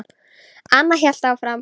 Anna hélt áfram.